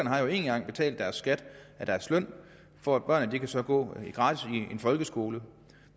har jo en gang betalt deres skat af deres løn for at børnene så kan gå gratis i en folkeskole